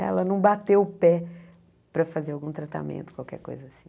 Ela não bateu o pé para fazer algum tratamento, qualquer coisa assim.